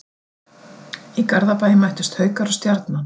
Í Garðabæ mættust Haukar og Stjarnan.